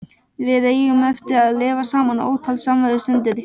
Við eigum eftir að lifa saman ótal samverustundir.